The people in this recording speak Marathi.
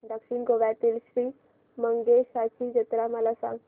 दक्षिण गोव्यातील श्री मंगेशाची जत्रा मला सांग